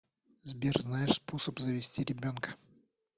сбер знаешь способ завести ребенка